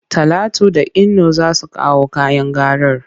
Talatu da Inno za su kawo kayan garar.